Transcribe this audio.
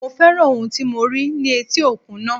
Mo féràn ohun tí mo rí ní etí òkun náà.